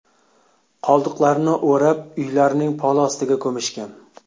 Qoldiqlarini o‘rab, uylarning poli ostiga ko‘mishgan.